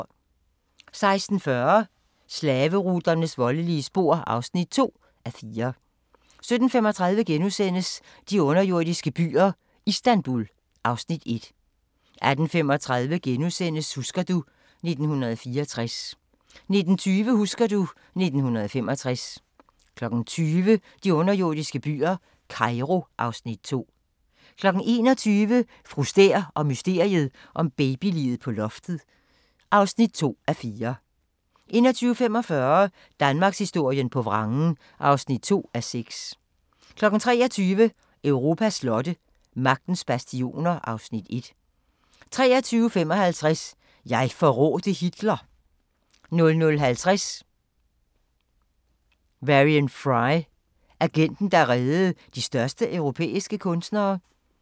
16:40: Slaveruternes voldelige spor (2:4) 17:35: De underjordiske byer - Istanbul (Afs. 1)* 18:35: Husker du ... 1964 * 19:20: Husker du ... 1965 20:00: De underjordiske byer – Cairo (Afs. 2) 21:00: Fru Stæhr og mysteriet om babyliget på loftet (2:4) 21:45: Danmarkshistorien på vrangen (2:6) 23:00: Europas slotte: Magtens bastioner (Afs. 1) 23:55: Jeg forrådte Hitler 00:50: Varian Fry: Agenten, der reddede de største europæiske kunstnere